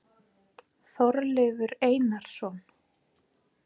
Þorleifur Einarsson.